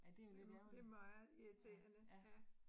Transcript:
Jo, det meget irriterende ja